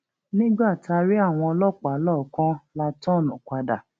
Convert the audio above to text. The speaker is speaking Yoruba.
nígbà tá a rí àwọn ọlọpàá lọọọkán la tọọnù padà